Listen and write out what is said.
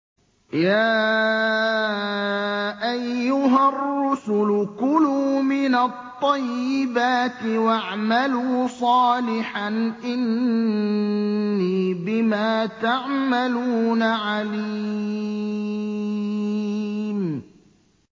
يَا أَيُّهَا الرُّسُلُ كُلُوا مِنَ الطَّيِّبَاتِ وَاعْمَلُوا صَالِحًا ۖ إِنِّي بِمَا تَعْمَلُونَ عَلِيمٌ